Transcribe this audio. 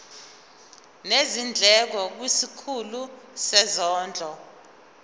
nezindleko kwisikhulu sezondlo